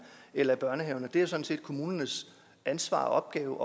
eller i børnehaverne det er sådan set kommunernes ansvar og opgave